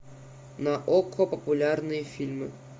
на окко популярные фильмы